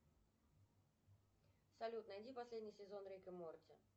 салют найди последний сезон рик и морти